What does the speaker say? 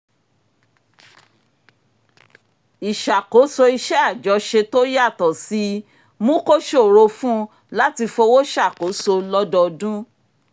ìṣàkóso iṣẹ́ àjọṣe tó yàtọ̀ síi mú kó ṣòro fún un láti fowó ṣàkóso lọ́dọọdún